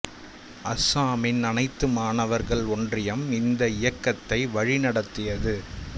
அஸ்ஸாமின் அனைத்து மாணவர்கள் ஒன்றியம் இந்த இயக்கத்தை வழி நடத்தியது